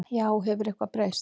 Já, hefur eitthvað breyst?